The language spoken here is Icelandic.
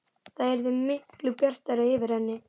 Það yrði miklu bjartara yfir henni.